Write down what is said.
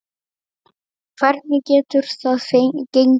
Hvernig getur það gengi?